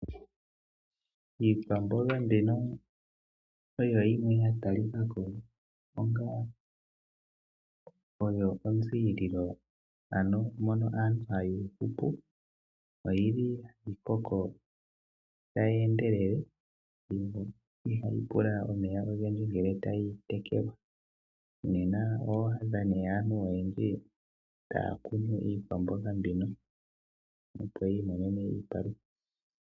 Iikwamboga mbino oyo yimwe ya talika ko onga oyo onziililo, ano mono aantu haya hupu. Ohayi koko tayi endelele, ihayi pula omeya ogendji ngele tayi tekelwa nena oho adha aantu oyendji taya kunu iikwamboga mbino, opo yi imonene iipalutha.